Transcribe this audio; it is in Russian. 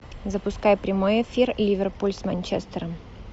запускай прямой эфир ливерпуль с манчестером